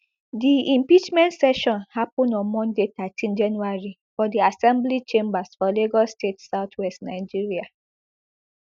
di impeachment session happun on monday thirteen january for di assembly chambers for lagos state southwest nigeria